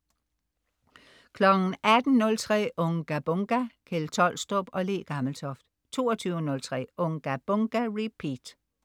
18.03 Unga Bunga! Kjeld Tolstrup og Le Gammeltoft 22.03 Unga Bunga! Repeat